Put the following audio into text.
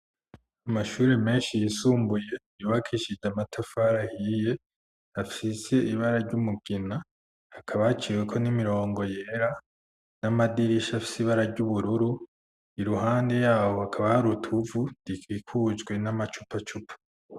Amashuri menshi yisumbuye iyubakishida matafar ahiye hafise ibara ry'umugina akaba aciwe ko n'imirongo yera n'amadirisha fisibara ry'ubururu iruhande yabo hakaba haruta uvu dika ikujwe n'amacupa cupa.